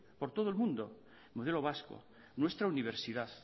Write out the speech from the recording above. por todo el mundo modelo vasco nuestra universidad